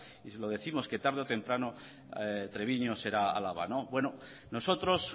lo décimos que tarde o temprano treviño será álava bueno nosotros